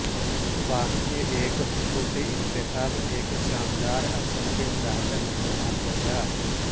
واقعی ایک حقیقی انتخاب ایک شاندار اثر کے ساتھ نمونہ ہو گا